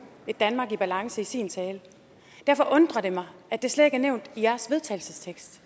et danmark i bedre balance i sin tale derfor undrer det mig at det slet ikke er nævnt i jeres vedtagelsestekst